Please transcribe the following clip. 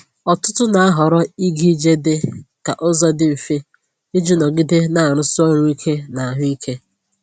Ọtụtụ na-ahọrọ ịga ije dị ka ụzọ dị mfe iji nọgide na-arụsi ọrụ ike na ahụ ike.